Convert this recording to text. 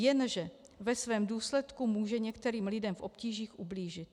Jenže ve svém důsledku může některým lidem v obtížích ublížit.